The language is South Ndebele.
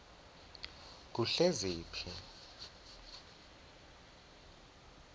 kuhleziphi